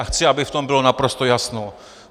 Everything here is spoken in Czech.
A chci, aby v tom bylo naprosto jasno.